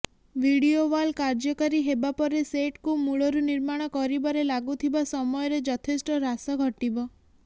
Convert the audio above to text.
video wall କାର୍ଯ୍ୟକାରୀ ହେବା ପରେ ସେଟକୁ ମୂଳରୁ ନିର୍ମାଣ କରିବାରେ ଲାଗୁଥିବା ସମୟରେ ଯଥେଷ୍ଟ ହ୍ରାସ ଘଟିବ